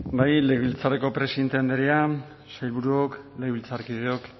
bai legebiltzarreko presidente andrea sailburuok legebiltzarkideok